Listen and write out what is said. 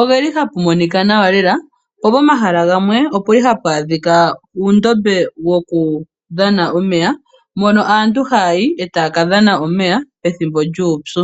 ohapu monika nawa lela. Po pomahala gamwe ohapu adhika uundombe wokudhana omeya, mpono aantu haya yi taya ka dhana omeya pethimbo lyuupyu.